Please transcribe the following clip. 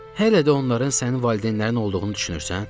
Hələ də onların sənin valideynlərin olduğunu düşünürsən?